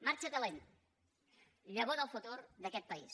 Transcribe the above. marxa talent llavor del futur d’aquest país